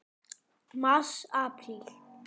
Mars Apríl